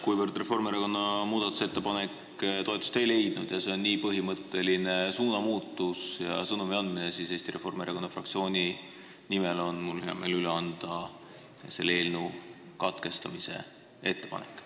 Kuivõrd Reformierakonna muudatusettepanek toetust ei leidnud ning see on nii põhimõtteline suunamuutus ja sõnumi andmine, siis Eesti Reformierakonna fraktsiooni nimel on mul hea meel üle anda selle eelnõu lugemise katkestamise ettepanek.